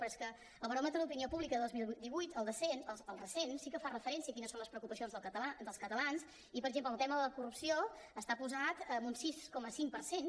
però és que el baròmetre d’opinió pública del dos mil divuit el recent sí que fa referència a quines són les preocupacions dels catalans i per exemple el tema de la corrupció hi està posat amb un sis coma cinc per cent